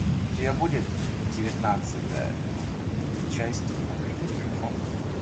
у тебя будет девятнадцатая часть открытый микрофон